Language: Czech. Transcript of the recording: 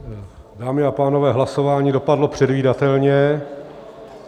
Dámy a pánové, hlasování dopadlo předvídatelně.